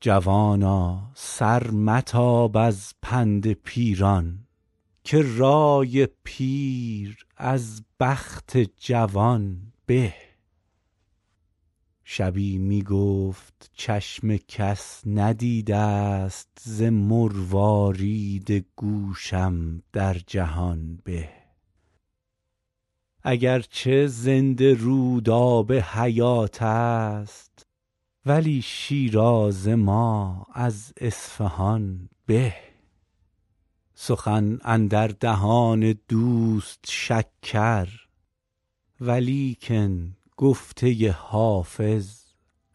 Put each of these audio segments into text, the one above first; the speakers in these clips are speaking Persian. جوانا سر متاب از پند پیران که رای پیر از بخت جوان به شبی می گفت چشم کس ندیده ست ز مروارید گوشم در جهان به اگر چه زنده رود آب حیات است ولی شیراز ما از اصفهان به سخن اندر دهان دوست شکر ولیکن گفته حافظ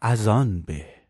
از آن به